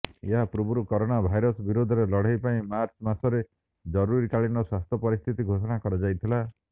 ଏହାପୂର୍ବରୁ corona virus ବିରୋଧରେ ଲଢେଇ ପାଇଁ ମାର୍ଚ୍ଚ ମାସରେ ଜରୁରୀକାଳୀନ ସ୍ୱାସ୍ଥ୍ୟ ପରିସ୍ଥିତି ଘୋଷଣା କରାଯାଇଥିଲା